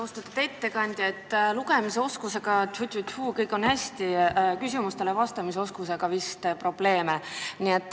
Austatud ettekandja, lugemisoskusega, ptüi-ptüi, on teil kõik hästi, kuid küsimustele vastamise oskusega on vist probleeme.